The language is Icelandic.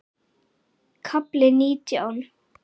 KAFLI NÍTJÁN